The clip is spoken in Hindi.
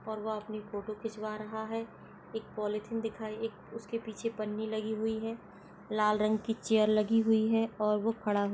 और वह अपनी फोटो खिंचवा रहा है। एक पॉलीथीन दिखाई एक उसके पीछे पन्नी लगी हुई है। लाल रंग की चेयर लगी हुई है और वो खड़ा हुआ --